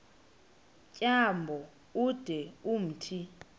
tyambo ude umthi